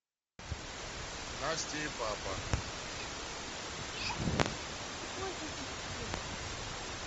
настя и папа